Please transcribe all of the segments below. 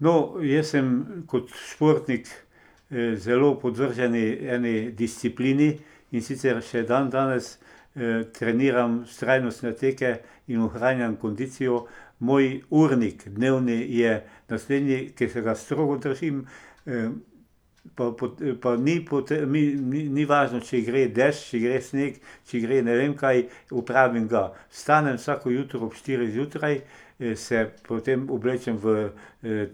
No, jaz sem kot športnik zelo podvržen eni disciplini, in sicer še dandanes, treniram vztrajnostne teke in ohranjam kondicijo. Moj urnik dnevni je naslednji, ki se ga strogo držim, pa pa ni ni, ni, ni važno, če gre dež, če gre sneg, če gre ne vem kaj, opravim ga. Vstanem vsako jutro ob štirih zjutraj, se potem oblečem v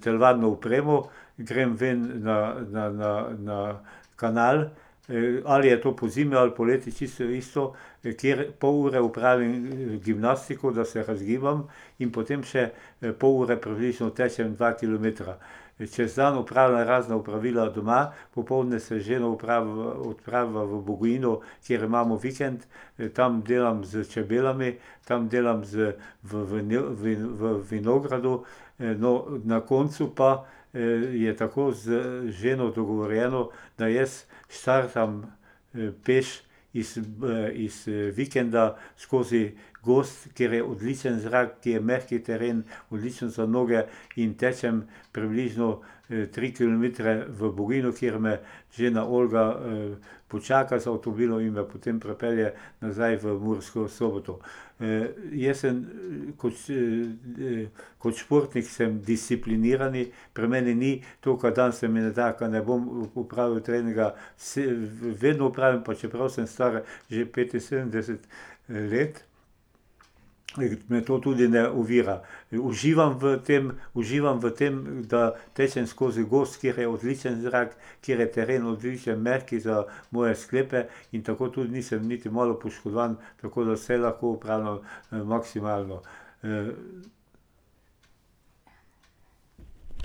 telovadno opremo, grem ven na, na, na, na kanal, ali je to pozimi ali poleti, čisto odvisno, kjer pol ure opravim gimnastiko, da se razgibam, in potem še pol ure približno tečem dva kilometra. Čez dan opravljam razna opravila doma, popoldne se z ženo odpraviva v Bogojino, kjer imamo vikend. tam delam s čebelami, tam delam z, v, v, v vinogradu, no, na koncu pa je tako z ženo dogovorjeno, da jaz štartam peš, iz iz vikenda, skozi gozd, kjer je odličen zrak, kjer je mehek teren, odličen za noge, in tečem približno tri kilometre v Bogojino, kjer me žena Olga počaka z avtomobilom in me potem prepelje nazaj v Mursko Soboto. jaz sem, kot kot športnik sem discipliniran, pri meni ni, to ke danes se mi ne da, ke ne bom opravil treninga, vse vedno opravim, pa čeprav sem star, že petinsedemdeset let, me to tudi ne ovira. Uživam v tem, uživam v tem, da tečem skozi gozd, kjer je odličen zrak, kjer je teren odličen, mehek za moje sklepe, in tako tudi nisem niti malo poškodovan, tako da vse lahko opravljam, maksimalno,